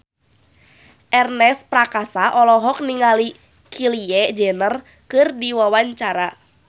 Ernest Prakasa olohok ningali Kylie Jenner keur diwawancara